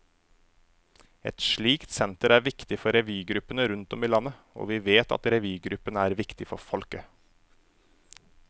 Et slikt senter er viktig for revygruppene rundt om i landet, og vi vet at revygruppene er viktige for folket.